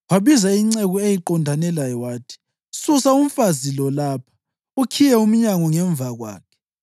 Wabiza inceku eyayiqondane laye wathi, “Susa umfazi lo lapha, ukhiye umnyango ngemva kwakhe.”